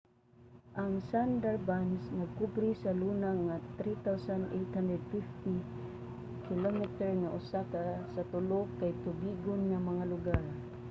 ang sundarbans nagkobre sa luna nga 3,850 km² nga usa sa tulo kay tubigon nga mga lugar